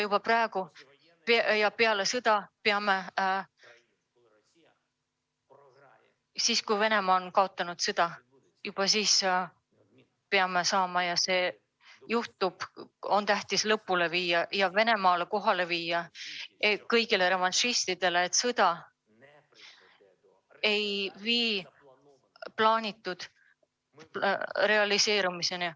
Ning siis, kui Venemaa on kaotanud sõja – ja see juhtub –, on tähtis lõpule viia ja viia Venemaa kõigi revanšistideni teadmine, et sõda ei vii plaanitu realiseerumiseni.